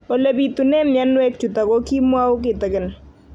Ole pitune mionwek chutok ko kimwau kitig'�n